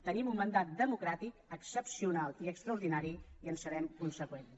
tenim un mandat democràtic excepcional i extraordinari i serem conseqüents